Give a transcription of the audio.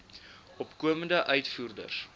opkomende uitvoerders